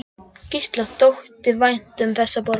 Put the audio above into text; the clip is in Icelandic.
Gísla þótti vænt um þessa borg.